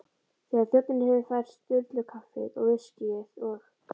Þegar þjónninn hefur fært Sturlu kaffið og viskíið, og